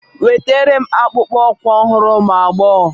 Wetara m akpụkpọ ụkwụ ọhụrụ ụmụ agbọghọ